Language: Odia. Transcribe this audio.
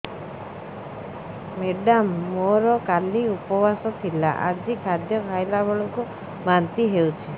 ମେଡ଼ାମ ମୋର କାଲି ଉପବାସ ଥିଲା ଆଜି ଖାଦ୍ୟ ଖାଇଲା ବେଳକୁ ବାନ୍ତି ହେଊଛି